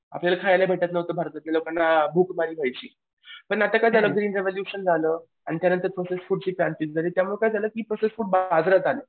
आपल्याला खायला भेटत नव्हतं लोकांना भूकमारी व्हायची. पण आता काय झालं ग्रीन रिव्युलेशन झालं. आणि त्यानंतर प्रोसेस्ड फूडची क्रांती त्यामुळं काय झालं की प्रोसेस्ड फूड बाजारात आलं.